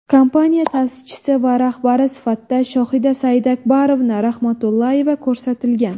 Kompaniya ta’sischisi va rahbari sifatida Shohida Saidakbarovna Rahmatullayeva ko‘rsatilgan.